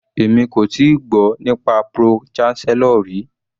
Èmi kò tíì gbọ́ nípa pro-chancellor rí.